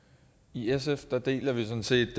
i sf deler vi sådan set